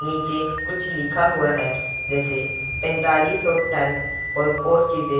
नीचे कुछ लिखा हुआ है जैसे पैंतालीस सौ टन और और चीजें--